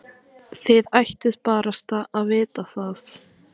Þið ættuð barasta að vita það.